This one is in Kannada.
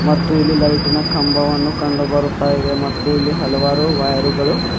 ಮತ್ತು ಇಲ್ಲಿ ಲೈಟಿನ ಕಂಭವನ್ನು ಕಂಡು ಬರುತ್ತಾ ಇದೆ ಮತ್ತೂ ಇಲ್ಲಿ ಹಲವಾರು ವೈರು ಗಳು.